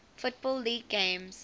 football league games